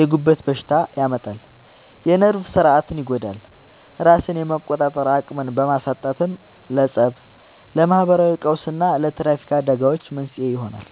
የጉበት በሽታ ያመጣል፣ የነርቭ ሥርዓትን ይጎዳል፤ ራስን የመቆጣጠር አቅምን በማሳጣትም ለፀብ፣ ለማህበራዊ ቀውስና ለትራፊክ አደጋዎች መንስኤ ይሆናል።